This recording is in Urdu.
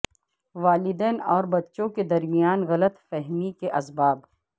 والدین اور بچوں کے درمیان غلط فہمی کے اسباب